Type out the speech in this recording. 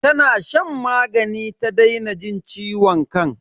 Tana shan magani ta daina jin ciwon kan.